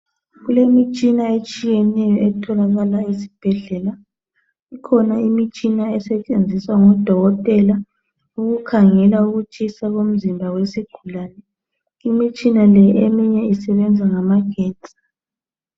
Kulemitshina etshiyeneyo etholakala ezibhedlela ekhona imitshina esetshenziswa ngodokotela ukukhangela ukutshisa komzimba wesigulane imitshina le eminye isebenza ngamagetsi.